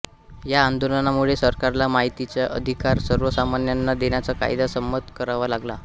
या आंदोलनामुळे सरकारला माहितीचा अधिकार सर्वसामान्यांना देण्याचा कायदा संमत करावा लागला